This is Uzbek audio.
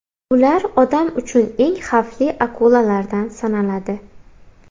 Ular odam uchun eng xavfli akulalardan sanaladi.